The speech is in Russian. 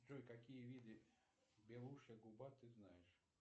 джой какие виды белушья губа ты знаешь